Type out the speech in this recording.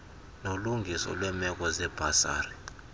nolungiso lweemeko zebhasari